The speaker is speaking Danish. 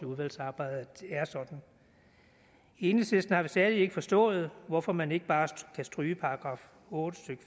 udvalgsarbejdet at det er sådan i enhedslisten har vi stadig ikke forstået hvorfor man ikke bare kan stryge § otte stykke